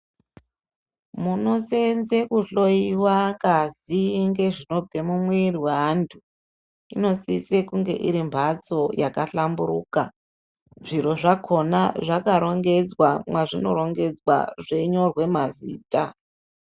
Munoseenze kuhloiwa ngazi ngezvinobve mumwiiri weantu inosise kunge iri mphatso yakahlamburuka, zviro zvakhona zvakarongedzwa mwazvinorongedzwa zveinyorwe mazita.